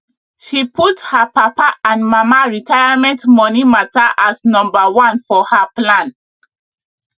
she put her papa and mama retirement money matter as number one for her plan